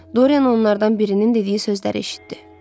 Doryen onlardan birinin dediyi sözləri eşitdi.